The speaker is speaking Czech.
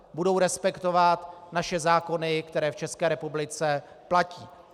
Budou respektovat naše zákony, které v České republice platí.